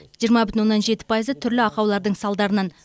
жиырма бүтін оннан жеті пайызы түрлі ақаулардың салдарынан